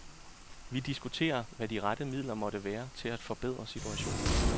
Vi diskuterer, hvad de rette midler måtte være til at forbedre situationen.